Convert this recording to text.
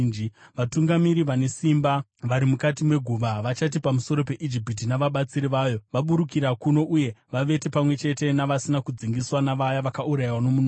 Vatungamiri vane simba vari mukati meguva, vachati pamusoro peIjipiti navabatsiri vayo, ‘Vaburukira kuno uye vavete pamwe chete navasina kudzingiswa, navaya vakaurayiwa nomunondo.’